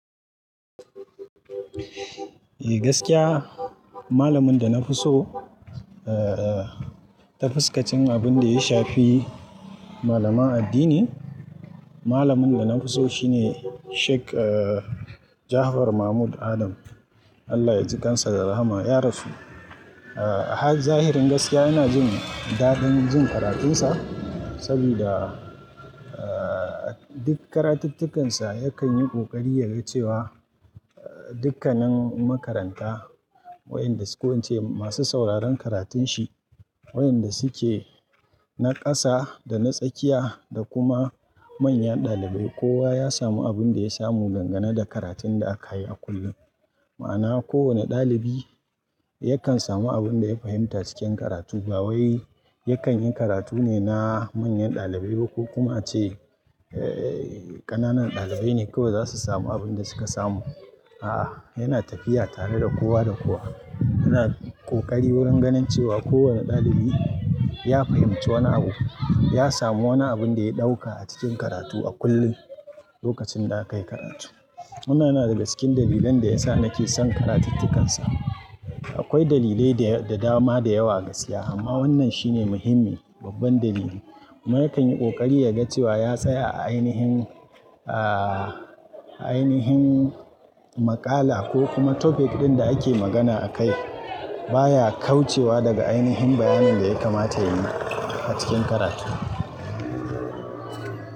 Eh gaskiya, malamin da na fi so, eh, ta fuskacin abin da ya shafi malama addini, malamin da na fi so shine Sheik Jafar Mahmud Adam. Allah ya ji kansa da rahama, ya rasu. Zahirin gaskiya ina jin dadin jin karatunsa saboda duk karatukkansa yakan yi kokari ya ga cewa dukkanin makaranta, wayanda su ko wance masu sauraron karatun shi, wayanda suke na ƙasa da na tsakiya da kuma manyan ɗalibai, kowa ya samu abin da ya samu dangane da karatun da aka yi a kullum. Ma'ana kowane ɗalibi yakan samu abin da ya fahimta cikin karatu ba wai yakan yi karatu ne na manyan ɗalibai ba ko kuma ce ƙananan ɗalibai ne kawai za su samu abin da suka samu. A'a, yana tafiya tare da kowa da kowa. Yana kokari wurin ganin cewa kowane ɗalibi ya fahimci wani abu, ya samu wani abin da ya ɗauka a cikin karatu a kullum lokacin da aka yi karatu. Wanna na daga cikin dalilan da yasa nake son karatukkansa. Akwai dalilai da dama da yawa gaskiya amma wannan shine muhimmi, babban dalili. Ma yakan yi kokari ya ga cewa ya tsaya a ainihin, a ainihin maƙala ko kuma topic ɗin da ake magana a kai baya kaucewa daga ainihin bayanin da ya kamata yayi a cikin karatu.